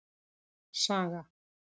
Saga